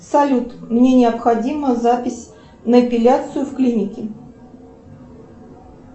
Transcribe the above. салют мне необходима запись на эпиляцию в клинике